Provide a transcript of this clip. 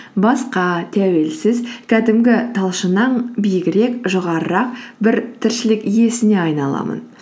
басқа тәуелсіз кәдімгі талшыннан биігірек жоғарырақ бір тіршілік иесіне айналамын